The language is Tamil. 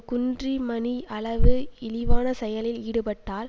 குன்றிமணி அளவு இழிவான செயலில் ஈடுபட்டால்